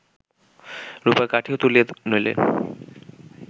রূপার কাঠিও তুলিয়া লইলেন্